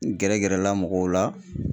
N gɛrɛ gɛrɛla mɔgɔw la.